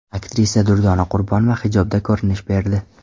Aktrisa Durdona Qurbonova hijobda ko‘rinish berdi.